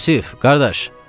Yusif, qardaş!